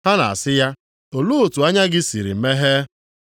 Ha na-asị ya, “Olee otu anya gị sịrị meghee?”